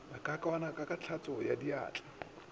ba ka kwana ka hlatswadiatla